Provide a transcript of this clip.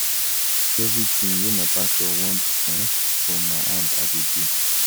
No be everytin wey my pastor want um from my hand I dey do.